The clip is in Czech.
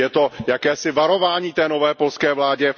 Je to jakési varování té nové polské vládě.